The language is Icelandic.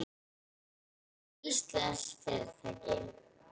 Það er íslenskt fyrirtæki.